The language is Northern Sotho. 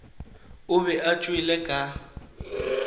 o be a tšwele ka